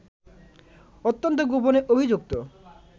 অত্যন্ত গোপনে অভিযুক্ত